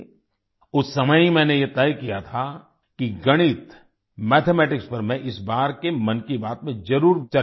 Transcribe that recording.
उस समय ही मैंने ये तय किया था कि गणितmathematics पर मैं इस बार के मन की बात में जरुर चर्चा करुंगा